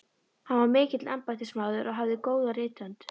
Hann var mikill embættismaður og hafði góða rithönd.